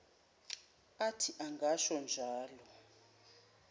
athi angasho njalo